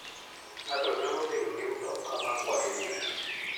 Ng'ato nyalo bedo gi mtoka makwayo muya.